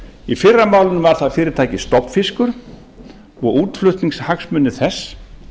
í fyrra málinu var það fyrirtækið stofnfiskur og útflutningshagsmunir þess